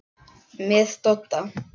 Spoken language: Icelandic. Með Dodda?